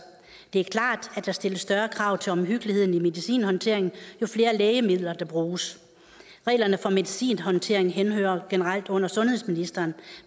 det er klart at der stilles større krav til omhyggeligheden i medicinhåndteringen jo flere lægemidler der bruges reglerne for medicinhåndtering henhører generelt under sundhedsministeren